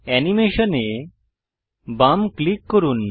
animation এ বাম click করুন